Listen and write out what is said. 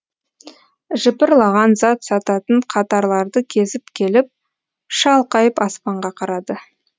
жыпырлаған зат сататын қатарларды кезіп келіп шалқайып аспанға қарады